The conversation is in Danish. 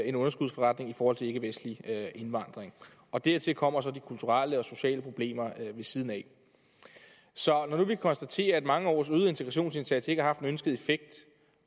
en underskudsforretning i forhold til ikkevestlig indvandring og dertil kommer så de kulturelle og sociale problemer ved siden af så når nu vi kan konstatere at mange års øget integrationsindsats ikke har haft den ønskede effekt